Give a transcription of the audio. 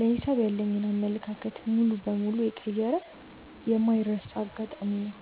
ለሂሳብ ያለኝን አመለካከት ሙሉ በሙሉ የቀየረ የማይረሳ አጋጣሚ ነው።